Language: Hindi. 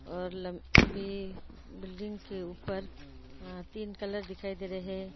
और लंबी बिल्डिंग के ऊपर अ तीन कलर दिखाई दे रहे हैं।